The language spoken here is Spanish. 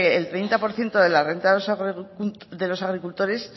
el treinta por ciento de la renta de los agricultores